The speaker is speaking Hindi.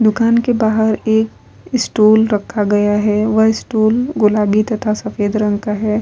दूकान के बाहर एक स्टूल रखा गया है वह स्टूल गुलाबी तथा सफ़ेद रंग का है ।